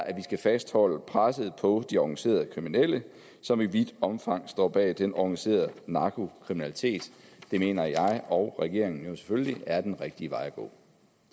at vi skal fastholde presset på de organiserede kriminelle som i vidt omfang står bag den organiserede narkokriminalitet det mener jeg og regeringen selvfølgelig er den rigtige vej